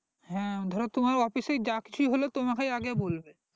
হ্যাঁ ধরো তোমার office এই যা কিছু হবে তোমাকে আগে বলবে